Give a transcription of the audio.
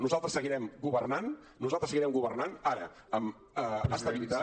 nosaltres seguirem governant nosaltres seguirem governant ara amb estabilitat